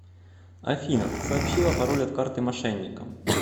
афина сообщила пароль от карты мошенникам